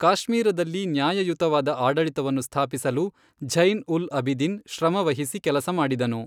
ಕಾಶ್ಮೀರದಲ್ಲಿ ನ್ಯಾಯಯುತವಾದ ಆಡಳಿತವನ್ನು ಸ್ಥಾಪಿಸಲು ಝೈನ್ ಉಲ್ ಅಬಿದಿನ್, ಶ್ರಮವಹಿಸಿ ಕೆಲಸ ಮಾಡಿದನು.